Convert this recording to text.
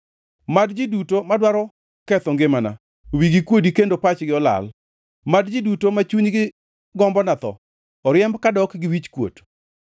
Mad ji duto madwaro ketho ngimana wigi kuodi kendo pachgi olal; mad ji duto ma chunygi gombona tho oriemb kadok gi wich okuot.